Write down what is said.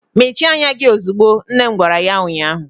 Mechie anya gị ozugbo! nne m gwara ya ụnyaahụ.